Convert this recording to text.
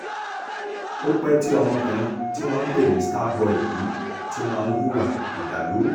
ó pẹ́ tí ọmọkùnrin tí wọ́n ń pè ní starboy yìí ti máa ń hùwà ìdàlúrú